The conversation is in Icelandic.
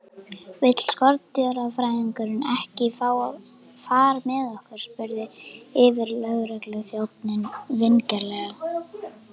Vill skordýrafræðingurinn ekki fá far með okkur? spurði yfirlögregluþjónninn vingjarnlega.